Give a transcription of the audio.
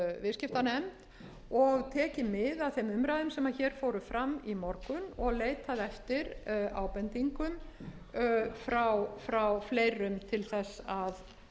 viðskiptanefnd og tekið mið af þeim umræðum sem hér fóru fram í morgun og leitað eftir ábendingum frá fleirum til þess að